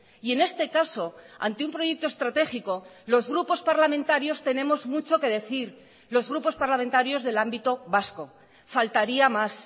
y en este caso ante un proyecto estratégico los grupos parlamentarios tenemos mucho que decir los grupos parlamentarios del ámbito vasco faltaría más